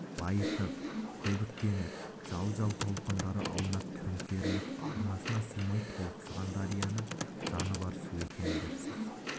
лайытып көбіктеніп жал-жал толқындары аунап төңкеріліп арнасына сыймай толықсыған дарияны жаны бар су екен дерсіз